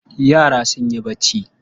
Yara sun yi barci.